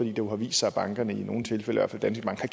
jo vist sig at bankerne i nogle tilfælde